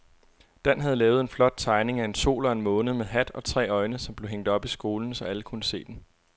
Dan havde lavet en flot tegning af en sol og en måne med hat og tre øjne, som blev hængt op i skolen, så alle kunne se den.